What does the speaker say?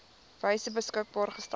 wyse beskikbaar gestel